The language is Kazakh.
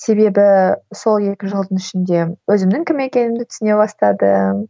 себебі сол екі жылдың ішінде өзімнің кім екенімді түсіне бастадым